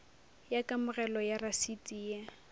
ya kamogelo ya rasiti ye